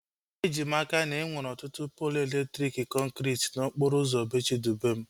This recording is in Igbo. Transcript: Eji m n'aka, na enwere ọtụtụ poolu elektriki kọnkriti n'okporo ụzọ bee Chidubem